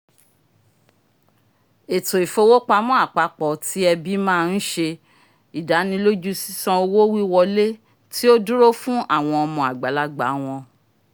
eto ifowopamọ apapọ ti ẹbi ma nṣẹ́ ìdánilójú ṣiṣàn owo-wiwọle ti o duro fun awọn ọmọ agbalagba wọn